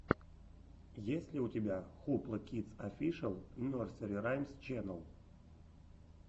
есть ли у тебя хупла кидс офишэл нерсери раймс ченнел